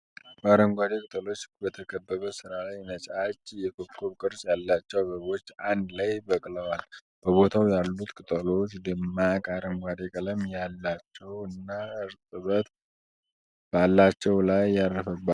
በአረንጓዴ ቅጠሎች በተከበበ ስራ ላይ ነጫጭ የኮከብ ቅርጽ ያላቸው አበቦች አንድ ላይ በቅለዋል። በቦታው ያሉት ቅጠሎች ደማቅ አረንጓዴ ቀለም ያላቸው እና እርጥበት በላያቸው ላይ ያረፈባቸው ናቸው።